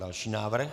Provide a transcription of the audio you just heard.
Další návrh.